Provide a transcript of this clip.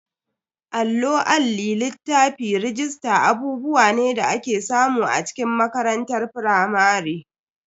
Allo, Alli, littafi, rajista abubuwa ne da ake samu a cikin makarantar firamare.